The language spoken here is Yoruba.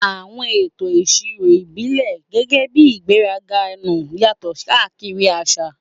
Àwọn ètò ìṣirò ìbílẹ̀, gẹ́gẹ́ bí ìgbéraga nnu, yàtọ̀ káàkiri àṣà.